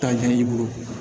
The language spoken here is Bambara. Tanjɛn'i bolo